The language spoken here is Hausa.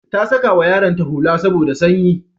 Ta sakawa yaronta hula saboda sanyi.